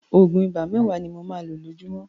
Òògùn ibà mẹ́wàá ni mo máa lo lójúmọ́.